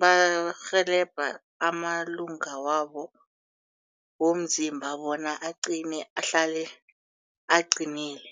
barhelebha amalunga wabo womzimba bona aqine ahlale aqinile.